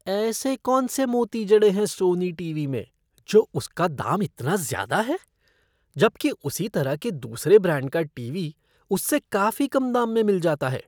ऐसे कौन से मोती जड़े हैं सोनी टीवी में जो उसका दाम इतना ज्यादा है? जबकि उसी तरह के दूसरे ब्रांड का टीवी उससे काफी कम दाम में मिल जाता है।